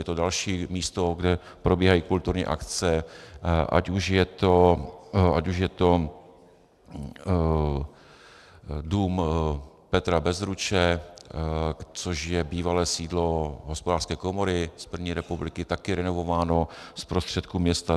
Je to další místo, kde probíhají kulturní akce, ať už je to Dům Petra Bezruče, což je bývalé sídlo hospodářské komory z první republiky, také renovované z prostředků města.